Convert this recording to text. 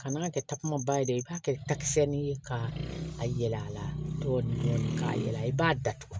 Kan'a kɛ takuma ba ye dɛ i b'a kɛ takisɛ ni ye ka a yɛlɛ a la dɔɔni dɔɔni ka yɛlɛ i b'a datugu